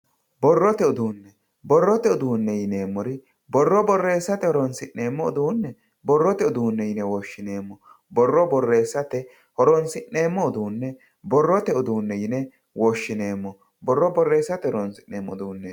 Borrote uduune, borrote uduune yineemmori borro borreessate horonsi'neemmo uduune borrote uduune yine woshshineemmo, borro borreessate horonsi'neemmo uduune borrote uduune yine woshshineemmo, borro borreessate horonsi'neemmo uduune.